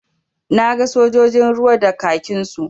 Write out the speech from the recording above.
Na ga sojojin ruwa da kakinsu.